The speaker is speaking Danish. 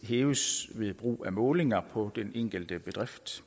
hæves ved brug af målinger på den enkelte bedrift